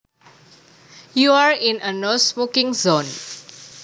You are in a no smoking zone